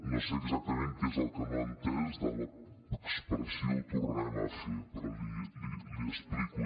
no sé exactament què és el que no ha entès de l’expressió ho tornarem a fer però l’hi explico